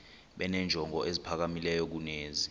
benenjongo eziphakamileyo kunezi